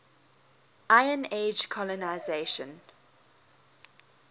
iron age colonisation